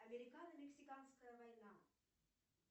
американо мексиканская война